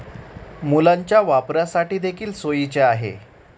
मुलांच्या वापरासाठी देखील सोयीचे आहे.